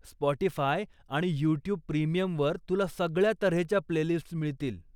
Spotify आणि YouTube प्रीमियमवर तुला सगळ्या तऱ्हेच्या प्लेलिस्ट्स मिळतील.